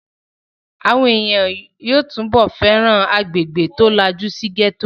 Àwọn èèyàn yóò túbọ̀ fẹ́ràn agbègbè tí ó lajú sí gẹ́tò